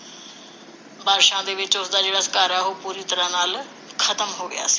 ਬਾਰਿਸ਼ਾਂ ਦੇ ਵਿਚ ਉਸਦਾ ਜਿਹੜਾ ਘਰ ਹੈ ਉਹ ਪੂਰੀ ਤਰਾਂਹ ਨਾਲ ਖਤਮ ਹੋ ਗਿਆ ਸੀ